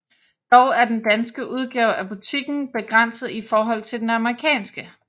Dog er den danske udgave af butikken begrænset i forhold til den amerikanske